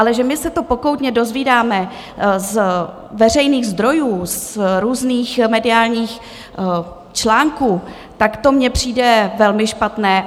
Ale že my se to pokoutně dozvídáme z veřejných zdrojů, z různých mediálních článků, tak to mně přijde velmi špatné.